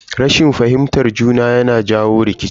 Rashin fahimtar juna yana jawo rikici.